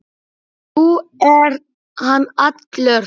Nú er hann allur.